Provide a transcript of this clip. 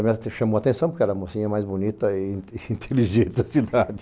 E ela me chamou a atenção porque era a mocinha mais bonita e inteligente da cidade.